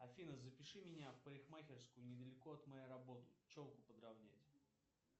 афина запиши меня в парикмахерскую недалеко от моей работы челку подровнять